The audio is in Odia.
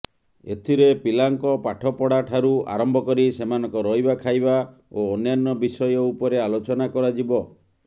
ଏଥିରେ ପିଲାଙ୍କ ପାଠପଢ଼ାଠାରୁ ଆରମ୍ଭ କରି ସେମାନଙ୍କ ରହିବା ଖାଇବା ଓ ଅନ୍ୟାନ୍ୟ ବିଷୟ ଉପରେ ଆଲୋଚନା କରାଯିବ